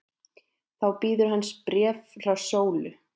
Þá bíður hans bréf frá Sólu.